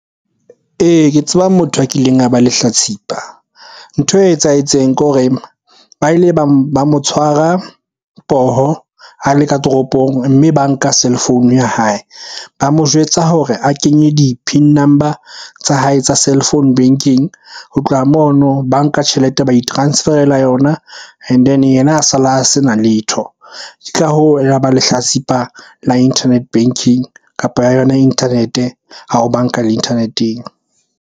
Ee, ke tseba motho a kileng a ba lehlatsipa. Ntho e etsahetseng ke hore ba ile ba mo tshwara poho a le ka toropong, mme ba nka cellphone ya hae. Ba mo jwetsa hore a kenye di-PIN number tsa hae tsa cellphone banking. Ho tloha mono ba nka tjhelete, ba i-transferela yona and then yena a sa la sena letho. Tla hoo lehlatsipa la internet banking, kapa ya yona internet-e ha o banka le internet-eng.